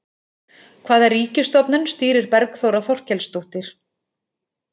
Hvaða ríkisstofnun stýrir Bergþóra Þorkelsdóttir?